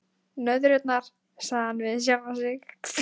Nöðrurnar, sagði hann við sjálfan sig.